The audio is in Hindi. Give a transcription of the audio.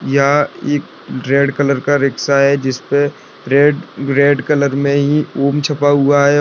यह एक रेड कलर का रिक्शा है जिसपे रेड रेड कलर मे ही ओम छपा हुआ है।